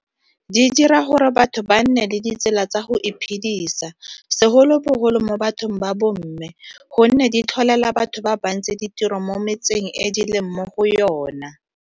Di dira gore batho ba nne le ditsela tsa go iphedisa, segolobogolo mo bathong ba bomme, gonne di tlholela batho ba bantsi ditiro mo metseng e di leng mo go yona.